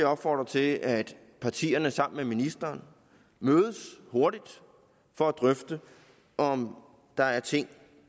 opfordre til at partierne sammen med ministeren mødes hurtigt for at drøfte om der er ting